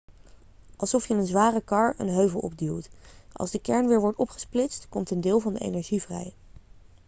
alsof je een zware kar een heuvel opduwt als de kern weer wordt opgesplitst komt een deel van de energie vrij